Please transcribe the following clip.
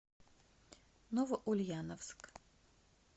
новоульяновск